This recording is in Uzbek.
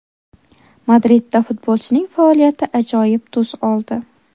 Madridda futbolchining faoliyati ajoyib tus oldi.